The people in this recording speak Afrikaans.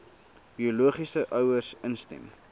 biologiese ouers instem